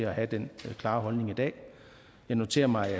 at have den klare holdning i dag jeg noterer mig at